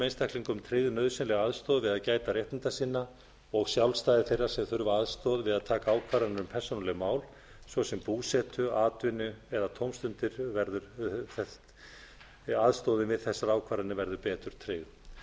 einstaklingum tryggð nauðsynleg aðstoð við að gæta réttinda sinna og sjálfstæði þeirra sem þurfa aðstoð við að taka ákvarðanir um persónuleg mál svo sem búsetu atvinnu eða tómstundir aðstoðin við þessar ákvarðanir verði betur tryggð